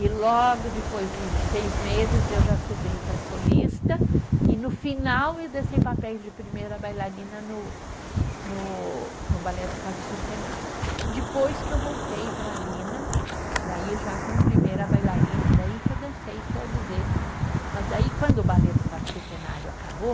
E logo depois de seis meses eu já subi para solista e no final eu dancei papéis de primeira bailarina no no, no balé do quarto centenário, depois que eu voltei para Lina daí já como primeira bailarina daí que eu dancei todos esses, mas daí quando o balé do quarto centenário acabou